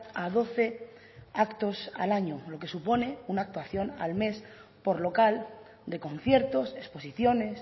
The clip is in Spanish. a doce actos al año lo que supone una actuación al mes por local de conciertos exposiciones